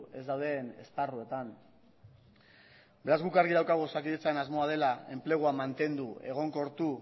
ez dauden esparruetan beraz guk argi daukagu osakidetzaren asmoa dela enplegua mantendu egonkortu